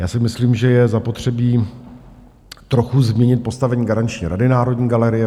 Já si myslím, že je zapotřebí trochu změnit postavení garanční rady Národní galerie.